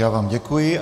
Já vám děkuji.